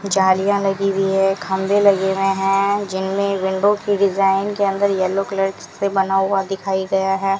जालियां लगी हुई है खंभे लगे हुए हैं जिनमें विंडो की डिजाइन के अंदर येलो कलर से बना हुआ दिखाई गया है।